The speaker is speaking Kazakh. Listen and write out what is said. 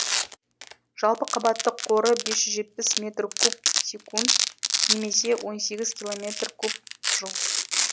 жалпы қабаттық қоры бес жүз жетпіс метр куб секунд немесе он сегіз километр куб жыл